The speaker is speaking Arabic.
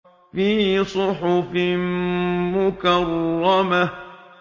فِي صُحُفٍ مُّكَرَّمَةٍ